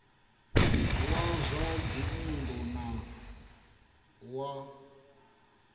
wa zwa dzinn ḓu wa